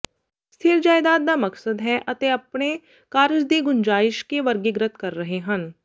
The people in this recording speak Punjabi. ਸਥਿਰ ਜਾਇਦਾਦ ਦਾ ਮਕਸਦ ਹੈ ਅਤੇ ਆਪਣੇ ਕਾਰਜ ਦੀ ਗੁੰਜਾਇਸ਼ ਕੇ ਵਰਗੀਕ੍ਰਿਤ ਕਰ ਰਹੇ ਹਨ